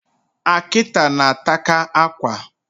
Akita na-ataka akwa